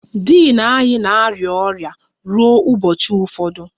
Din anyị na-arịa ọrịa ruo ụbọchị ụfọdụ